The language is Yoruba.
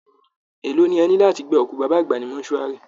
Èló ni ẹ ná láti gba òkú baba àgbà ní mortuary?